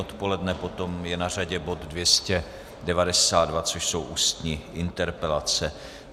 Odpoledne potom je na řadě bod 292, což jsou ústní interpelace.